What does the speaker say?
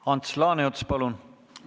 Ants Laaneots, palun!